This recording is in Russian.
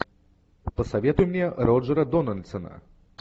посоветуй мне роджера дональдсона